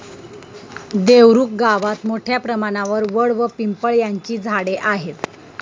देवरुख गावात मोठ्या प्रमाणावर वड व पिंपळ यांची झाडे आहेत.